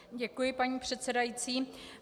Děkuji, paní předsedající.